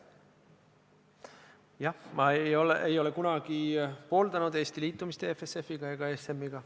Jah, ma ei ole kunagi pooldanud Eesti liitumist EFSF-i ega ESM-iga.